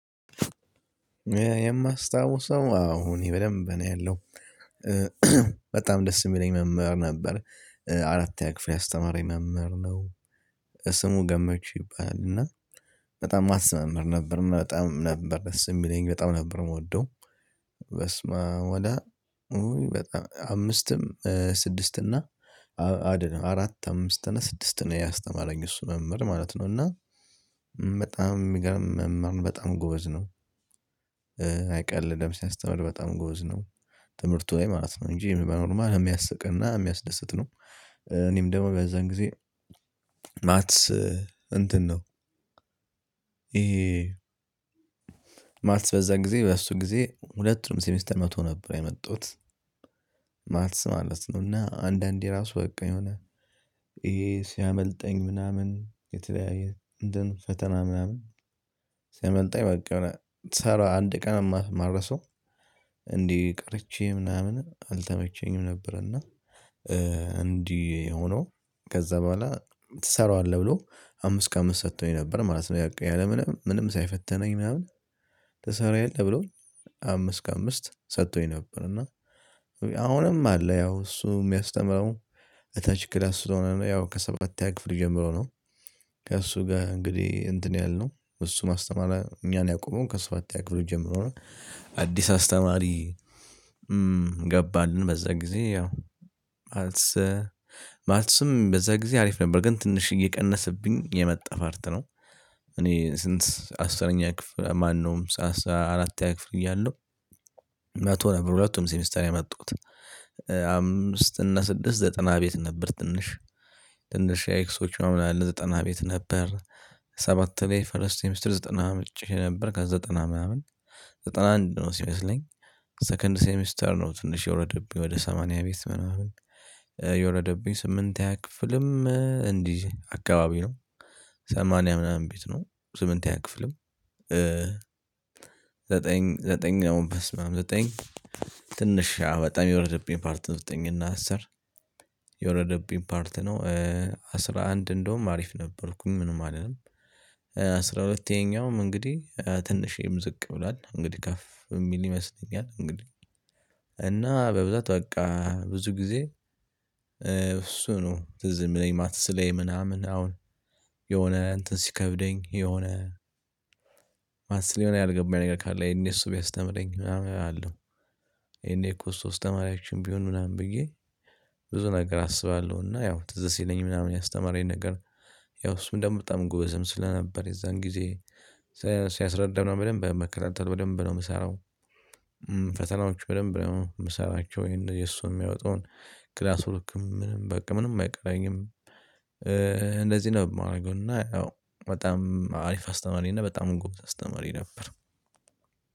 የማስታውሰው አዎ እኔ በደንብ ነው ያለው በጣም ደስ የሚለኝ መምህር ነበር። አራተኛ ክፍል ያስተማረኝ መምህር ነው። ስሙ ገመቹ ይባላል እና በጣም ማትስ መምህር ነበር በጣም ነበር ደስ የሚለኝ በጣም ነበር የምወደው። በስመአብ ወደ በጣም አምስትም ስድስት እና አራት አምስት እና ስድስት ነው ያስተማረኝ እሱ መምህር ማለት ነው። እና በጣም የሚገርም መምህርን በጣም ጎበዝ ነው። አይቀልድም ሲያስተምር በጣም ጎበዝ ነው። ትምህርቱ ላይ ማለት ነው እንጂ በኖርማል የሚያስቅና የሚያስደስት ነው። እኔም ደግሞ በዛን ጊዜ ማትስ እንትን ነው። ይሄ ማትስ በዛን ጊዜ በሱ ጊዜ ሁለቱንም ሴሚስተር መቶ ነበር የመጣሁት። ማትስ ማለት ነው እና አንዳንዴ ራሱ በቃ የሆነ ይሄ ሲያመልጠኝ ምናምን የተለያየ እንደን ፈተና ምናምን ሲያመልጠኝ በቃ ሰራ አንድ ቀን የማረሳው። እንዲህ ቀርቼ ምናምን አልተመቸኝም ነበር እና። እንዲህ ሆኖ ከዛ በኋላ ትሰራዋለህ ብሎ አምስት ከአምስት ሰጥቶኝ ነበር ማለት ነው። የንቀን ምንም ምንም ሳይፈተነኝ ምናምን ትሰራ የለም ብሎ አምስት ከአምስት ሰጥቶኝ ነበር። እና አሁንም አለ ያው እሱ የሚያስተምረው እታች ክላስ ስለሆነ ነው ከሰባተኛ ክፍል ጀምሮ ነው። ከእሱ ጋር እንግዲህ እንትን ያልነው እሱ ማስተማር እኛን ያቆመው ከሰባተኛ ክፍል ጀምሮ። አዲስ አስተማሪ ገባልን በዛ ጊዜ ያው። ማለት ማትስም በዛ ጊዜ አሪፍ ነበር ግን ትንሽ እየቀነሰብኝ የመጣ ፋርት ነው። እኔ ስንት አስረኛ ክፍል ማነውም? አራተኛ ክፍል እያለሁ መቶ ነበር ሁለቱም ሴሚስተር የማጣሁት። አምስት እና ስድስት ዘጠና ቤት ነበር ትንሽ ትንሽ ኤክሶች ምናምን ለዘጠና ቤት ነበር። ሰባት ላይ ፍልስጤም ስትል ዘጠና አምጥቼ ነበር ከዘጠና ምናምን ዘጠና አንድ ነው ሲመስለኝ። ሰከንድ ሴሚስተር ነው ትንሽ የወረደብኝ ወደ ሰማንያ ቤት ምናምን። የወረደብኝ ስምንተኛ ክፍልም እንዲህ አካባቢ ነው። ሰማንያ ምናምን ቤት ነው ስምንተኛ ክፍልም። ዘጠኝ ዘጠኝ አሁን በስመአብ ዘጠኝ። ትንሽ በጣም የወረደብኝ ፓርት ነው ዘጠኝና አስር የወረደብኝ ፓርት ነው። አስራ አንድ እንደውም አሪፍ ነበርኩኝ ምንም አይደለም። አስራ ሁለተኛውም እንግዲህ ትንሽ ይምዝቅ ብሏል እንግዲህ ከፍ የሚል ይመስለኛል እንግዲህ። እና በብዛት በቃ ብዙ ጊዜ። እሱ ነው ትዝ የሚለኝ ማትስ ላይ ምናምን አሁን። የሆነ እንትን ሲከብደኝ የሆነ ማትስ የሆነ ያልገባኝ ነገር ካለ ይሄን እሱ ቢያስተምረኝ ምናምን አለው። ይሄን እኮ እሱ አስተማሪያችን ቢሆን ምናምን ብዬ። ብዙ ነገር አስባለሁ እና ያው ትዝ ሲለኝ ምናምን ያስተማረኝ ነገር። ያው እሱ ምንድነው? በጣም ጎበዝም ስለነበር የዛን ጊዜ። ሲያስረዳን በደንብ መከታተል በደንብ ነው የምሰራው። ፈተናዎች በደንብ ነው የምሰራቸው ይሄን የሱ የሚያወጣውን ክላስ ወርክም ምንም በቃ ምንም አይቀረኝም። እንደዚህ ነው የማደርገው እና ያው በጣም አሪፍ አስተማሪ እና በጣም ጎበዝ አስተማሪ ነበር።